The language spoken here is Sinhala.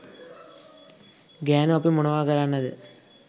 ගෑනු අපි මොනවා කරන්නද?